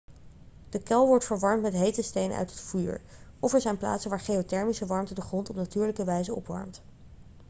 de kuil wordt verwarmd met hete stenen uit het vuur of er zijn plaatsen waar geothermische warmte de grond op natuurlijke wijze opwarmt